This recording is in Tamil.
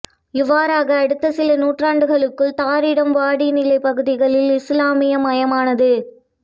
இவ்வாறக அடுத்த சில நூற்றாண்டுகளுக்குள் தாரிம் வடிநிலப் பகுதிகள் இசுலாமிய மயமானது